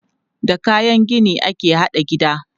Da kayan gini ake haɗa gida.